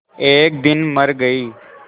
एक दिन मर गई